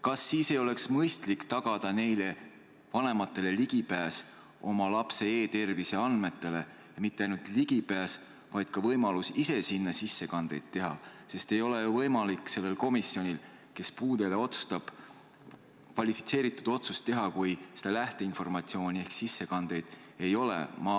Kas sellisel juhul ei oleks mõistlik tagada neile vanematele ligipääs oma lapse e-tervise andmetele, ja mitte ainult ligipääs, vaid ka võimalus ise selles keskkonnas sissekandeid teha, sest komisjon, kes puude üle otsustab, ei saa ju teha kvalifitseeritud otsust, kui lähteinformatsiooni ehk sissekandeid ei ole?